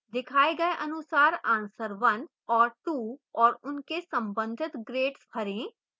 दिखाए गए अनुसार answer 1 और 2 और उनके संबंधित grades भरें